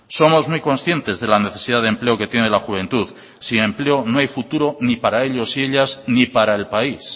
somos muy conscientes de la necesidad de empleo que tiene la juventud sin empleo no hay futuro ni para ellos ni ellas ni para el país